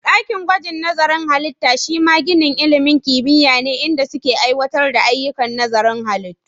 Ɗakin gwajin nazarin halittu shima ginin ilimin kimiyya ne, inda suke aiwatar da ayyukan nazarin halittu.